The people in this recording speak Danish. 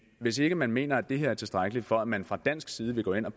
hvis ikke man mener det er tilstrækkeligt for at man fra dansk side vil gå ind at